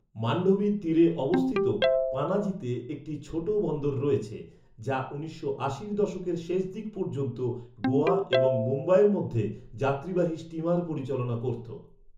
মান্ডোভির তীরে অবস্থিত পানাজিতে একটি ছোট বন্দর রয়েছে, যা উনিশশো আশির দশকের শেষ দিক পর্যন্ত গোয়া এবং মুম্বাইয়ের মধ্যে যাত্রীবাহী স্টিমার পরিচালনা করত।